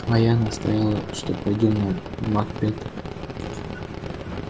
а я настояла что пойдём на макбета